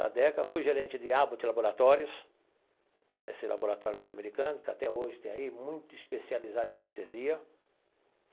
Na DECA, fui gerente de Abbott Laboratories, esse laboratório norte-americano, que até hoje tem aí, muito especializado em anestesia.